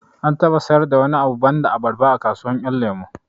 An taɓa sayar da wani abu banda abarba a kasuwar ƴan lemo